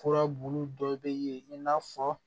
Furabulu dɔ bɛ yen i n'a fɔ